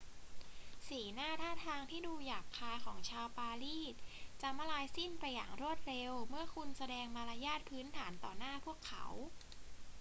สีหน้าท่าทางที่ดูหยาบคายของชาวปารีสจะมลายสิ้นไปอย่างรวดเร็วเมื่อคุณแสดงมารยาทพื้นฐานต่อหน้าพวกเขา